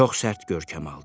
Çox sərt görkəm aldı.